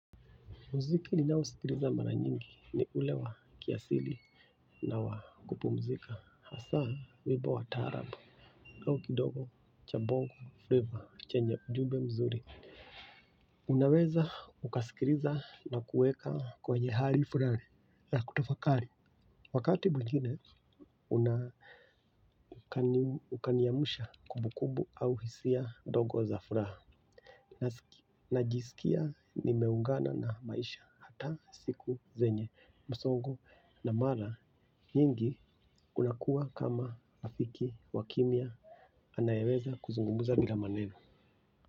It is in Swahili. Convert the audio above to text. Muziki ninaousikiliza mara nyingi ni ule wa kiasili na wa kupumzika hasaa wibo wa taarab au kidogo cha bongo frava chenye ujumbe mzuri unaweza ukasikiriza na kuweka kwenye hari furari ya kutafakari wakati mwigine ukaniamusha kubukubu au hisia dogo za furaha najisikia nimeungana na maisha hata siku zenye msongo na mara nyingi unakuwa kama rafiki wa kimya anayeweza kuzungumuza bila maneno.